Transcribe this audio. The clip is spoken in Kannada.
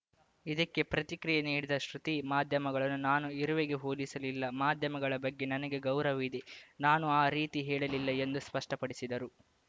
ಇದಕ್ಕೆ ಪ್ರತಿಕ್ರಿಯೆ ನೀಡಿದ ಶ್ರುತಿ ಮಾಧ್ಯಮಗಳನ್ನು ನಾನು ಇರುವೆಗೆ ಹೋಲಿಸಲಿಲ್ಲ ಮಾಧ್ಯಮಗಳ ಬಗ್ಗೆ ನನಗೆ ಗೌರವ ಇದೆ ನಾನು ಆ ರೀತಿ ಹೇಳಲ್ಲಿಲ್ಲ ಎಂದು ಸ್ಪಷ್ಟಪಡಿಸಿದರು